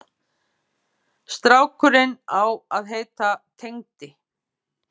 Strákurinn á að heita Tengdi.